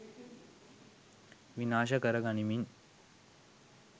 විනාශ කර ගනිමින්